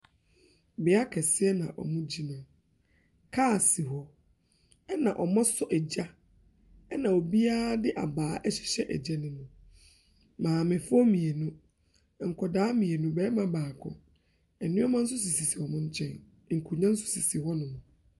Beaeɛ kɛseɛ na ɔmo gyina. Kaas, ɛna ɔmo so egya. Ɛna obiaa de abaa ahyehyɛ egya nim. Maamefoɔ mmienu nkɔdaa mmienu, barima baako. Nneɛma so sisi sisi ɔmo nkyɛn. Nkonwa so sisi hɔnom.